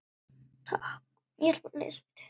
Takk, pabbi.